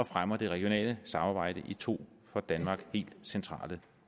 fremmer det regionale samarbejde i to for danmark helt centrale